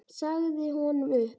Sagði honum upp.